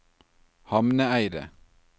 Hamneidet